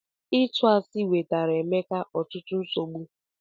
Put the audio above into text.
Ịtu asi wetara Emeka ọtụtụ nsogbu.